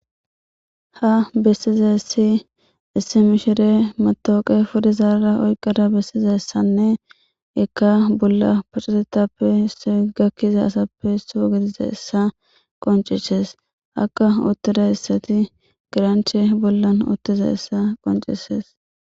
ha bessizaissi issi mishire matooqe fudizaarara oyqqada bessiza ssanne ikka bolla paccatetappe se gakkiza asappe soo gidiza issa qoncishees akka uttida issati giranche bollan uottiza issa qoncisees